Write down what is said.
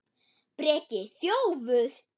Breki: Þjófur?